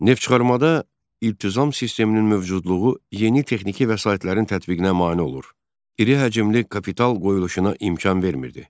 Neft çıxarmada iltizam sisteminin mövcudluğu yeni texniki vəsaitlərin tətbiqinə mane olur, iri həcmli kapital qoyuluşuna imkan vermirdi.